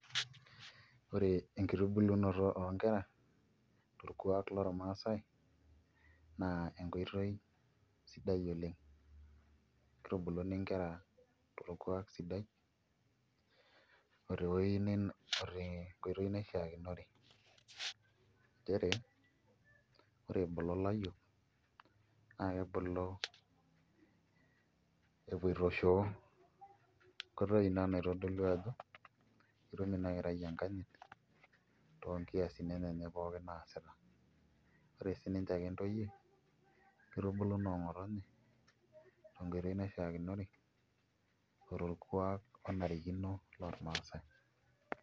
Ore enkitubulunoto oonkera torkuak lormaasai naa enkoitooi sidai oleng' kitubuluni nkera torkuak sidai oo tenkoitoi naishiakinore nchere ore ebulu ilayiok naakebulu epoito shoo, enkoitoi ina naitodolu ajo ketum ina kerai enkanyit toonkiasin enyenak naasita ore aje sininche ake ntoyie kitubulu noong'otonye te enkoitoi naishiakinore o torkuak onarikino lormaasai.